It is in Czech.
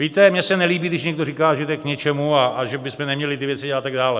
Víte, mně se nelíbí, když někdo říká, že to je k ničemu a že bychom neměli ty věci a tak dále.